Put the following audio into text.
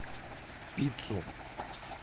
пиццу